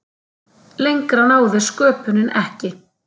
Lengra náði sköpunin ekki.